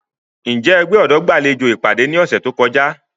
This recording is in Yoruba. Njẹ ẹgbẹ ọdọ gbalejo ipade ni ọsẹ to kọja?